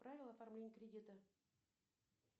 правила оформления кредита